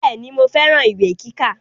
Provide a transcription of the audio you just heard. Bẹ́ẹ̀ni mo fẹ́ran ìwé kíkà